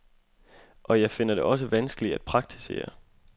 Og jeg finder det også vanskeligt at praktisere.